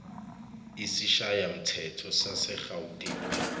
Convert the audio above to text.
isishayamthetho sase gauteng